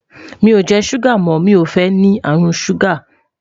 mí o jẹ ṣuga mọ, mí o fẹ ní àrùn ṣuga